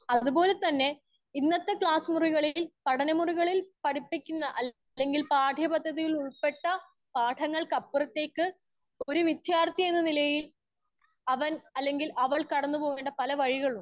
speaker 1 അത് പോലെ തന്നെ ഇന്നത്തെ ക്ലാസ്സ് മുറികളിൽ പഠന മുറികളിൽ പഠിപ്പിക്കില്ല അല്ലെങ്കിൽ പാട്യ പന്തത്തികളിൽ ഉൾപ്പെടുതാത്ത പാഠങ്ങൾ ക്കപ്പുറത്തേക്ക് ഒര്‌ വിദ്യാർത്ഥി എന്ന നിലയിൽ അവൻ അല്ലെങ്കിൽ അവൾ കിടന്ന് പോകേണ്ട പല വഴികളും